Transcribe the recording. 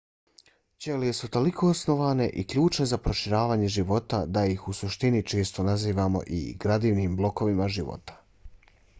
ćelije su toliko osnovne i ključne za proučavanje života da ih u suštini često nazivamo i gradivnim blokovima života